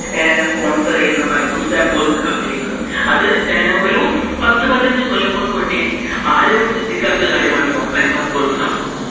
sponsor ചെയുന്ന Byju's app പോലുള്ള കമ്പനികളും അത് ഒരു പത്തു പതിനഞ്ചു കൊല്ലങ്ങൾക് മുന്നെ ആരുപോലും ചിന്തിക്കാത്ത കാര്യമാണ് ഈ online class പോലത്തെ സംഭവം.